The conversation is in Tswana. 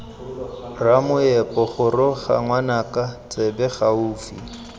ramoepo goroga ngwanaka tsebe gaufi